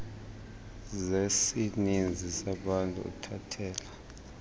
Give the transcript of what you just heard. zesininzi sabantu uthathela